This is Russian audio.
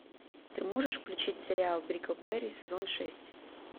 ты можешь включить сериал бриклберри сезон шесть